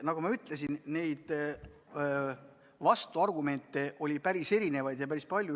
Nagu ma ütlesin, vastuargumente oli üsna erinevaid ja päris palju.